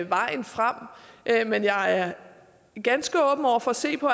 vejen frem men jeg er ganske åben over for at se på